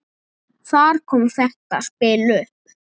Þar kom þetta spil upp.